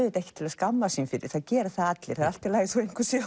ekkert til að skammast sín fyrir það gera það allir það er allt í lagi þó einhver sé